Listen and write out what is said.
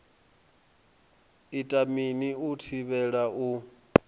ita mini u thivhela u